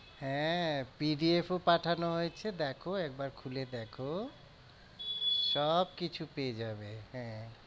হ্যাঁ PDF ও পাঠানো হয়েছে দেখো একবার খুলে দেখো। সব কিছু পেয়ে যাবে হ্যাঁ